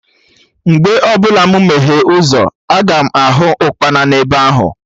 Mgbe ọbụla mụ meghee ụzọ, aga m ahụ Ụkpana ebe ahụ